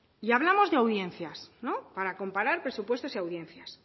y hablamos de audiencias para comparar presupuestos y audiencias